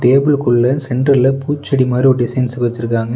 Table குள்ள சென்டர்ல பூச்செடி மாரி ஒரு டிசைன்ஸ் வெச்சுருக்காங்க.